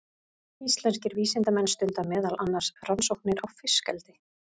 Íslenskir vísindamenn stunda meðal annars rannsóknir á fiskeldi.